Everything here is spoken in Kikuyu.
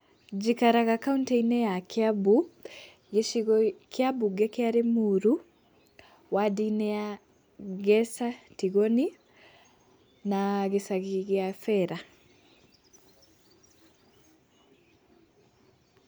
Njikaraga kauntĩ-inĩ ya Kiambu, gĩcigo kĩa mbunge kĩa Limuru, wadi-inĩ ya Ngesa Tigoni, na gĩcagi gĩa bera.